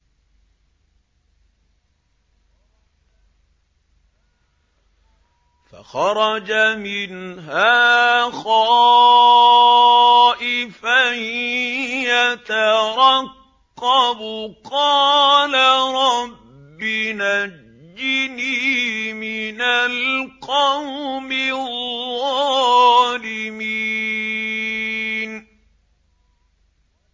فَخَرَجَ مِنْهَا خَائِفًا يَتَرَقَّبُ ۖ قَالَ رَبِّ نَجِّنِي مِنَ الْقَوْمِ الظَّالِمِينَ